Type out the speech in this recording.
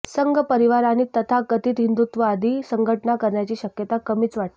संघ परिवार आणि तथाकथित हिंदुत्ववादी संघटना करण्याची शक्यता कमीच वाटते